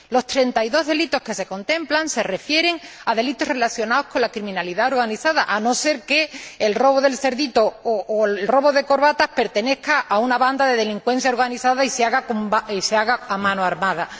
Los 32 delitos que se contemplan se refieren a delitos relacionados con la criminalidad organizada, a no ser que el robo del cerdito o el robo de corbatas corra a cargo de una banda de delincuencia organizada y se haga a mano armada.